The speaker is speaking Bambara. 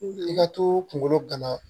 I ka to kunkolo gana